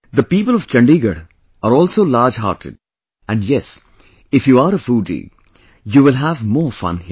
The people of Chandigarh are also large hearted and yes, if you are a foodie, you will have more fun here